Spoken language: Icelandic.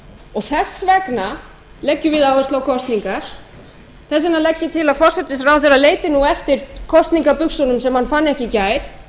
og þess vegna leggjum við áherslu á kosningar þess vegna leggjum við til að forsætisráðherra leiti eftir kosningabuxunum sem hann fann ekki í gær